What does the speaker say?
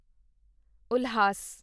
Ulhas